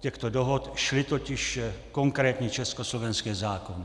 těchto dohod šly totiž konkrétní československé zákony.